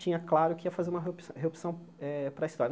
Tinha claro que ia fazer uma reopção reopção eh para história.